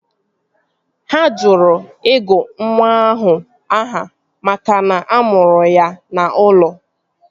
Ha jụrụ ịgụ nwa ahụ aha makana a mụrụ ya n'ụlọ